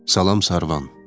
Salam Sərvan.